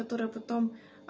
которая потом